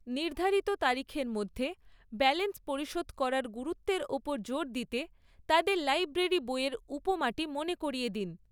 নির্ধারিত তারিখের মধ্যে ব্যালেন্স পরিশোধ করার গুরুত্বের ওপর জোর দিতে তাদের লাইব্রেরি বইয়ের উপমাটি মনে করিয়ে দিন।